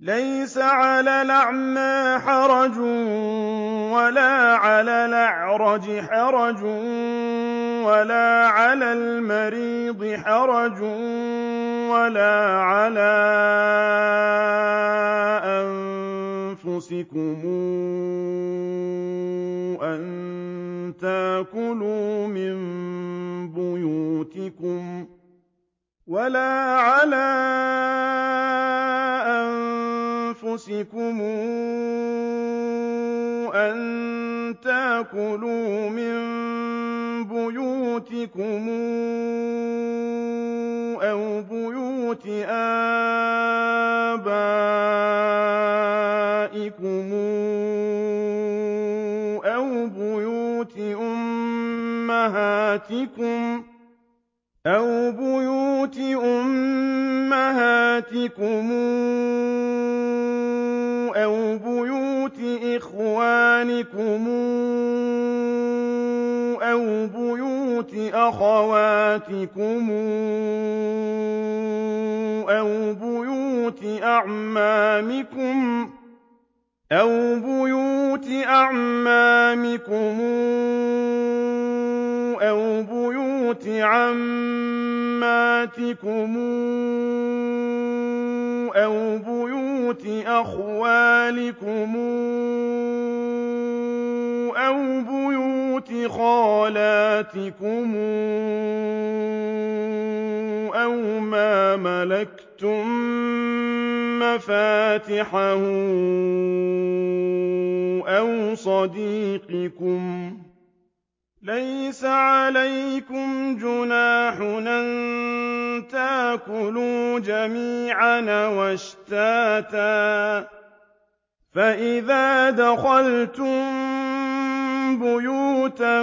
لَّيْسَ عَلَى الْأَعْمَىٰ حَرَجٌ وَلَا عَلَى الْأَعْرَجِ حَرَجٌ وَلَا عَلَى الْمَرِيضِ حَرَجٌ وَلَا عَلَىٰ أَنفُسِكُمْ أَن تَأْكُلُوا مِن بُيُوتِكُمْ أَوْ بُيُوتِ آبَائِكُمْ أَوْ بُيُوتِ أُمَّهَاتِكُمْ أَوْ بُيُوتِ إِخْوَانِكُمْ أَوْ بُيُوتِ أَخَوَاتِكُمْ أَوْ بُيُوتِ أَعْمَامِكُمْ أَوْ بُيُوتِ عَمَّاتِكُمْ أَوْ بُيُوتِ أَخْوَالِكُمْ أَوْ بُيُوتِ خَالَاتِكُمْ أَوْ مَا مَلَكْتُم مَّفَاتِحَهُ أَوْ صَدِيقِكُمْ ۚ لَيْسَ عَلَيْكُمْ جُنَاحٌ أَن تَأْكُلُوا جَمِيعًا أَوْ أَشْتَاتًا ۚ فَإِذَا دَخَلْتُم بُيُوتًا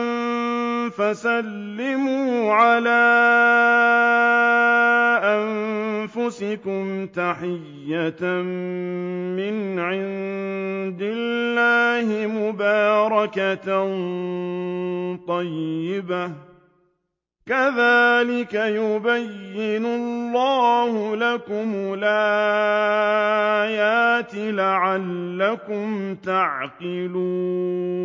فَسَلِّمُوا عَلَىٰ أَنفُسِكُمْ تَحِيَّةً مِّنْ عِندِ اللَّهِ مُبَارَكَةً طَيِّبَةً ۚ كَذَٰلِكَ يُبَيِّنُ اللَّهُ لَكُمُ الْآيَاتِ لَعَلَّكُمْ تَعْقِلُونَ